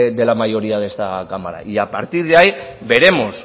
de la mayoría de esta cámara y a partir de ahí veremos